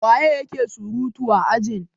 waye yake surutu a ajin?